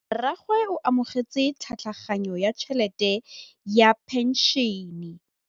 Rragwe o amogetse tlhatlhaganyô ya tšhelête ya phenšene.